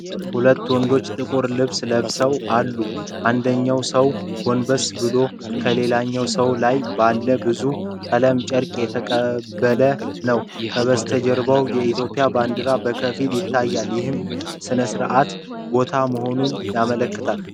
ሁለት ወንዶች ጥቁር ልብስ ለብሰው አሉ። አንደኛው ሰው ጎንበስ ብሎ ከሌላኛው ሰው ላይ ባለ ብዙ ቀለም ጨርቅ እየተቀበለ ነው። ከበስተጀርባ የኢትዮጵያ ባንዲራ በከፊል ይታያል፣ ይህም ሥነ ሥርዓታዊ ቦታ መሆኑን ያመለክታል።